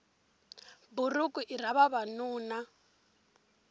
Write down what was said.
buruku i ra vavanuna